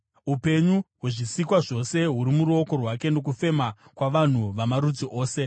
Upenyu hwezvisikwa zvose huri muruoko rwake, nokufema kwavanhu vamarudzi ose.